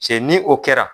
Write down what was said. Cɛ ni o kɛra